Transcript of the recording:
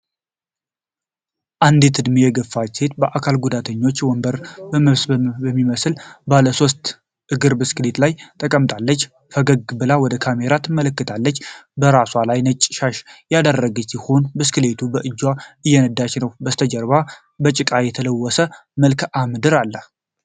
አንዲት እድሜ የገፋች ሴት፣ የአካል ጉዳተኞችን ወንበር በሚመስል ባለ ሶስት እግር ብስክሌት ላይ ተቀምጣለች። ፈገግ ብላ ወደ ካሜራ ትመለከታለች። በራሷ ላይ ነጭ ሻሽ ያደረገች ሲሆን፣ ብስክሌቱን በእጆቿ እየነዳች ነው። በስተጀርባ በጭቃ የተለወሰ መልክዓ ምድር ነው።